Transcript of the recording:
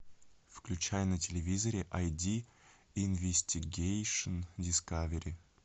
включай на телевизоре айди инвестигейшн дискавери